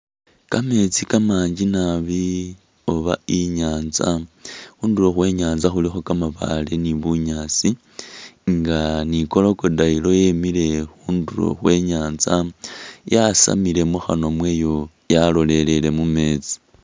Kametsi kamanji naabi oba inyanza khundulo khwe nyanza khulikho kamabaale ni'bunyaasi nga ni'crocodile yemile khundulo khwe nyanza yasamile mukhanywa mwayo yalolele mumetsi